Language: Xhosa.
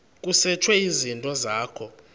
kusetshwe izinto zakho